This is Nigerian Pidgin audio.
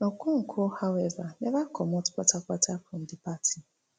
okonkwo however neva comot kpatakpata from di party